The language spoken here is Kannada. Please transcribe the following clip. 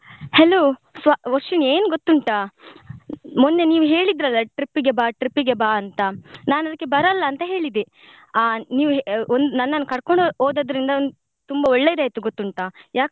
Hello ವ~ ವರ್ಷಿಣಿ ಏನ್ ಗೊತ್ತುಂಟ ಮೊನ್ನೆ ನೀವ್ ಹೇಳ್ತಿದ್ರಲ್ಲ trip ಗೆ ಬಾ trip ಗೆ ಬಾ ಅಂತ ನಾನ್ ಅದ್ಕೆ ಬರಲ್ಲ ಅಂತ ಹೇಳಿದ್ದೆ ಆ ನೀವ್ ಒಂದ್ ನನ್ನನ್ನು ಕರ್ಕೊಂಡು ಹೋದದ್ರಿಂದ ತುಂಬಾ ಒಳ್ಳೇದ್ ಆಯ್ತು ಗೊತ್ತುಂಟ.